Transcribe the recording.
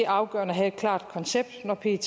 afgørende at have et klart koncept når pet